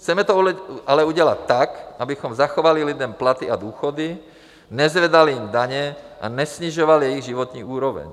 Chceme to ale udělat tak, abychom zachovali lidem platy a důchody, nezvedali jim daně a nesnižovali jejich životní úroveň.